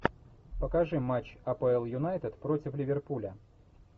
покажи матч апл юнайтед против ливерпуля